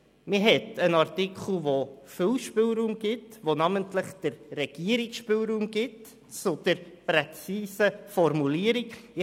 Man hat einen Artikel, der namentlich der Regierung viel Spielraum für eine präzise Formulierung bietet.